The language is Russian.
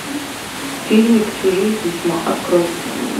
фильмик чужие письма открой